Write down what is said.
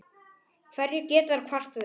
Hverju geta þeir kvartað yfir?